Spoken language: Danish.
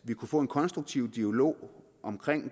vi få en konstruktiv dialog om